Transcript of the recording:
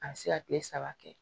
A bɛ se ka kile saba kɛ